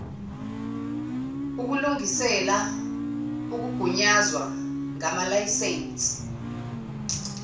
ukulungisela ukugunyazwa ngamalayisensi